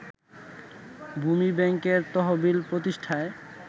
ভূমি ব্যাংকের তহবিল প্রতিষ্ঠায়